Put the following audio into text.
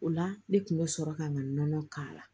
O la ne kun bɛ sɔrɔ ka n ka nɔnɔ k'a la